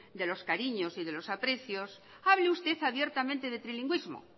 de los cariños y de los aprecios hable usted abiertamente de trilingüismo